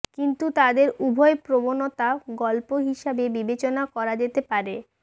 কিন্তু তাদের উভয় প্রবণতা গল্প হিসাবে বিবেচনা করা যেতে পারে